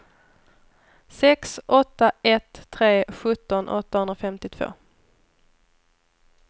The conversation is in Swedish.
sex åtta ett tre sjutton åttahundrafemtiotvå